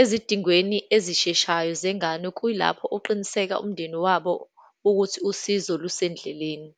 ezidingweni ezisheshayo zengane, kuyilapho oqiniseka umndeni wabo ukuthi usizo lusendleleni.